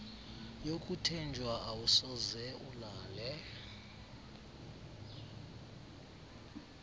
yokuthenjwa awusoze ulale